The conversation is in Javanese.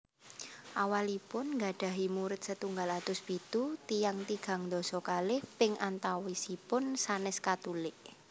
Awalipun nggadhahi murid setunggal atus pitu tiyang tigang dasa kalih ping antawisipun sanès Katulik